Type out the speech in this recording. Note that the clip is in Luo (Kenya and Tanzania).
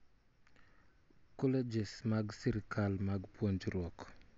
colleges mag sirikal mag puonjruok